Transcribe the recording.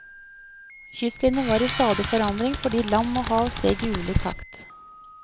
Kystlinjen var i stadig forandring fordi land og hav steg i ulik takt.